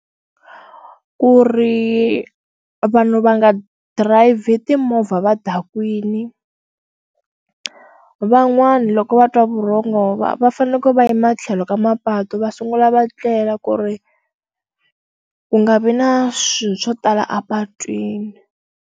Ku ri vanhu va nga dirayivhi timovha va dakwini van'wana loko va twa vurhongo nhova va faneleke va yima tlhelo ka mapatu va sungula va tlela ku ri ku nga vi na swilo swo tala a patwini